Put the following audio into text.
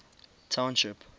township